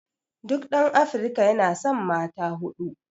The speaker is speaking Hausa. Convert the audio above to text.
duk ɗan Afrika yana san mata huɗu